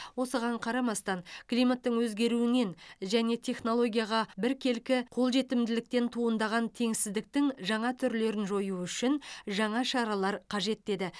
осыған қарамастан климаттың өзгеруінен және технологияға біркелкі қол жетімділіктен туындаған теңсіздіктің жаңа түрлерін жою үшін жаңа шаралар қажет деді